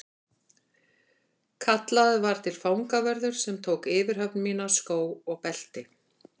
Kallaður var til fangavörður sem tók yfirhöfn mína, skó og belti.